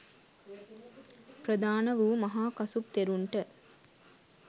ප්‍රධාන වූ මහා කසුප් තෙරුන්ට